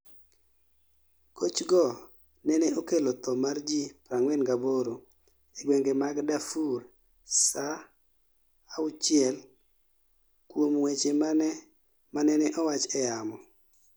Gochgo nene okelo tho mar ji 48 e gwenge mag Darfur saa sita kuom weche manene owach e yamo